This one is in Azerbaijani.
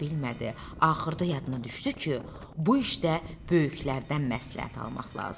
Axırda yadına düşdü ki, bu işdə böyüklərdən məsləhət almaq lazımdır.